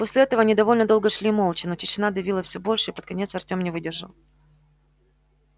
после этого они довольно долго шли молча но тишина давила все больше и под конец артём не выдержал